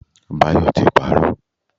Bayo ti parọ́.